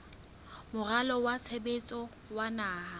moralo wa tshebetso wa naha